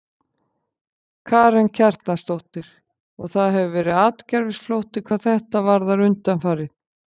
Karen Kjartansdóttir: Og það hefur verið atgervisflótti hvað þetta varðar undanfarið?